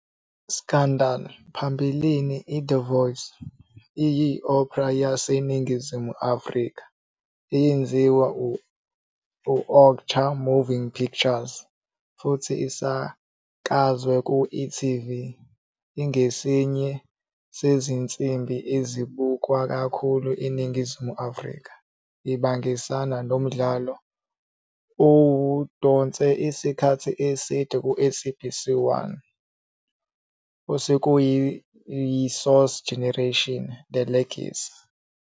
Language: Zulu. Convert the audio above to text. Scandal!, phambilini iThe Voice, iyi- opera yaseNingizimu Afrika eyenziwe yi-Ocher Moving Pictures futhi isakazwa ku-e.tv. Ingesinye sezinsimbi ezibukwa kakhulu eNingizimu Afrika, ibangisana nomdlalo owudonse isikhathi eside ku-SABC 1 "osekuyiSource Generations-The Legacy".